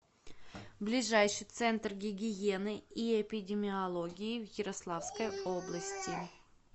ближайший центр гигиены и эпидемиологии в ярославской области